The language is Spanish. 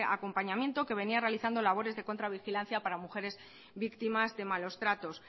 acompañamiento que venía realizando labores de contravigilancia para mujeres víctimas de malos tratos